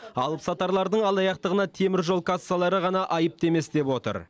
алыпсатарлардың алаяқтығына темір жол кассалары ғана айыпты емес деп отыр